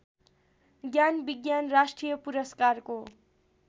ज्ञानविज्ञान राष्ट्रिय पुरस्कारको